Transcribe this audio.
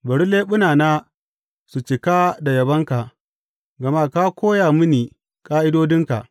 Bari leɓunana su cika da yabonka, gama ka koya mini ƙa’idodinka.